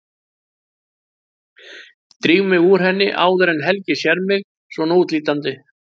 Dríf mig úr henni áður en Helgi sér mig svona útlítandi.